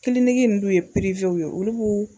Kiliniki nunnu d'u ye ye olubu.